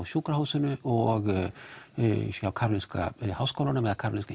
sjúkrahúsinu og Karolinska háskólanum